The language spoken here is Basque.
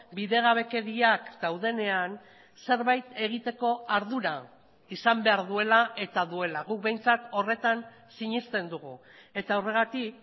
bidegabekeriak daudenean zerbait egiteko ardura izan behar duela eta duela guk behintzat horretan sinesten dugu eta horregatik